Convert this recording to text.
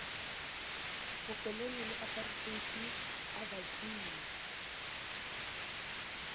bokolone le apareteite a bakile